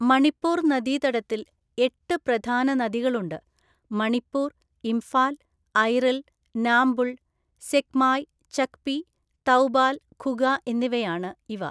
മണിപ്പൂർ നദീതടത്തിൽ എട്ട് പ്രധാന നദികളുണ്ട്, മണിപ്പൂർ, ഇംഫാൽ, ഐറിൽ, നാംബുൾ, സെക്മായ്, ചക്പി, തൗബാൽ, ഖുഗ എന്നിവയാണ് ഇവ.